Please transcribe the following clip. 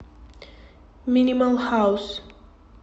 минимал хаус